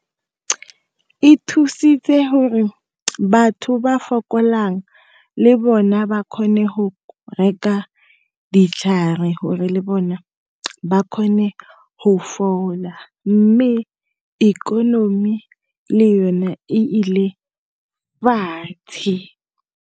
E thusitse gore batho ba fokolang le bona ba kgone go ditlhare hore le bona ba kgone go fola. Mme ikonomi le yone e ile fatshe.